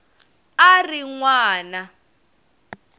a a ri n wana